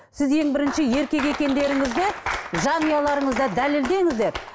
сіз ең бірінші еркек екендеріңізді жанұяларыңызда дәлелдеңіздер